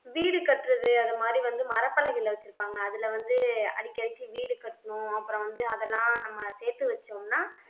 வீடு கட்டுறது அந்த மாதிரி வந்து மரப்பலகைல வச்சிருப்பாங்க அதுல வந்து அடிக்கடிக்கு வீடு கட்டணும் அப்புறம் வந்து அதெல்லாம் நம்ம சேர்த்து வச்சோம்னா